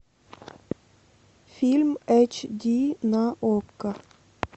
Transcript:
фильм эйч ди на окко